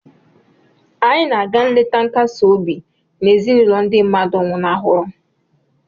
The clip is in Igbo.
Anyị na-aga nleta nkasi obi na ezinụlọ ndị mmadụ nwụnahụrụ